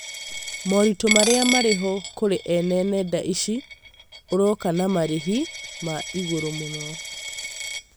Mũrĩtũ marĩa marĩho kũrĩ ene nenda ici ũroka na marĩhi ma igũrũ mũno